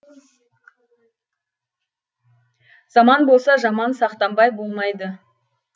заман болса жаман сақтанбай болмайды